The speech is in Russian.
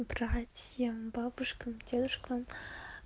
братьям бабушкам дедушкам